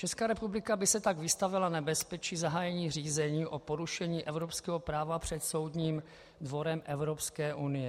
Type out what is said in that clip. Česká republika by se tak vystavila nebezpečí zahájení řízení o porušení evropského práva před Soudním dvorem Evropské unie.